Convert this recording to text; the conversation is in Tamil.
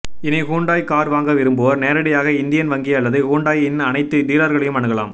இனி ஹூண்டாய் கார் வாங்க விரும்புவோர் நேரடியாக இந்தியன் வங்கி அல்லது ஹூண்டாயின் அனைத்து டீலர்களையும் அணுகலாம்